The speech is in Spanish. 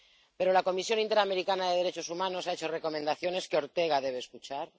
Pero la Comisión Interamericana de Derechos Humanos ha hecho recomendaciones que Ortega debe escuchar